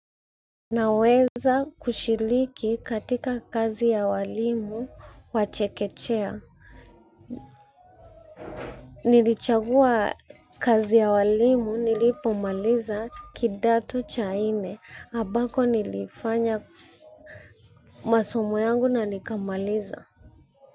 Naweza kushiriki katika kazi ya walimu wa chekechea. Nilichagua kazi ya walimu nilipomaliza kidato cha inne ambako nilifanya masomo yangu na nikamaliza.